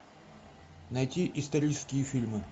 найти исторические фильмы